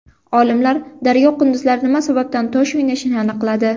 Olimlar daryo qunduzlari nima sababdan tosh o‘ynashini aniqladi.